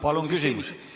Palun küsimus!